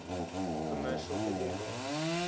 commercial video games